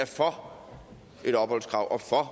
for et opholdskrav og for